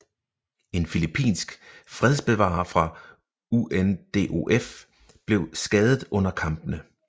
En filippinsk fredsbevarer fra UNDOF blev skadet under kampene